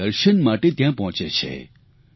તેમના દર્શન માટે ત્યાં પહોંચે છે